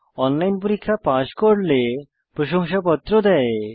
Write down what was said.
online পরীক্ষা pass করলে প্রশংসাপত্র দেয়